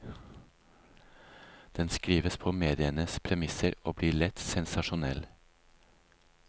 Den skrives på medienes premisser og blir lett sensasjonell.